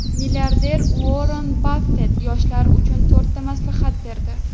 Milliarder Uorren Baffet yoshlar uchun to‘rtta maslahat berdi.